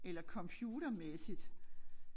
Eller computermæssigt